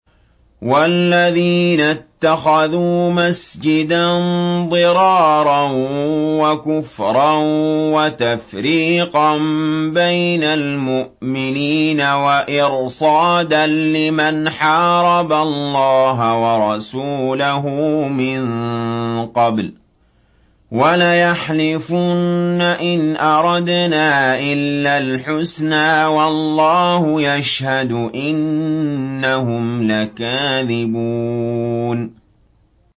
وَالَّذِينَ اتَّخَذُوا مَسْجِدًا ضِرَارًا وَكُفْرًا وَتَفْرِيقًا بَيْنَ الْمُؤْمِنِينَ وَإِرْصَادًا لِّمَنْ حَارَبَ اللَّهَ وَرَسُولَهُ مِن قَبْلُ ۚ وَلَيَحْلِفُنَّ إِنْ أَرَدْنَا إِلَّا الْحُسْنَىٰ ۖ وَاللَّهُ يَشْهَدُ إِنَّهُمْ لَكَاذِبُونَ